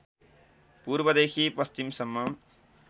पूर्वदेखि पश्चिमसम्म